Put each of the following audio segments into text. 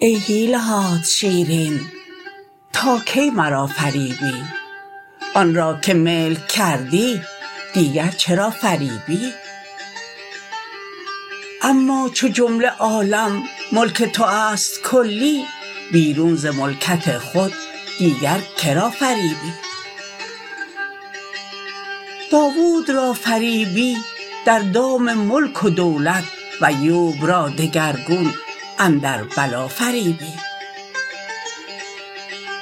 ای حیله هات شیرین تا کی مرا فریبی آن را که ملک کردی دیگر چرا فریبی اما چو جمله عالم ملک تو است کلی بیرون ز ملکت خود دیگر که را فریبی داوود را فریبی در دام ملک و دولت و ایوب را دگرگون اندر بلا فریبی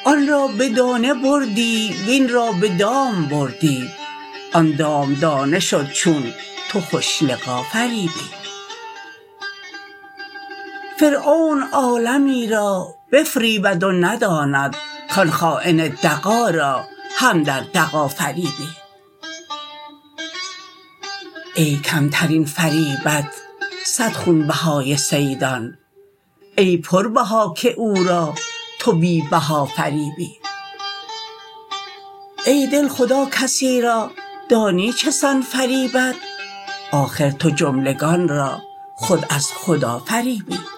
آن را به دانه بردی وین را به دام بردی آن دام دانه شد چون تو خوش لقا فریبی فرعون عالمی را بفریبد و نداند کان خاین دغا را هم در دغا فریبی ای کمترین فریبت صد خونبهای صیدان ای پربها که او را تو بی بها فریبی ای دل خدا کسی را دانی چه سان فریبد آخر تو جملگان را خود از خدا فریبی